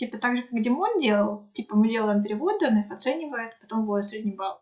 типа также как димон делал типа мы делаем переводы он их оценивает потом выводит средний балл